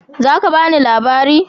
Za ka bani labariu?